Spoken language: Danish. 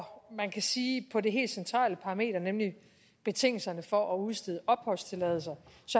man kan sige på det helt centrale parameter nemlig betingelserne for at udstede opholdstilladelser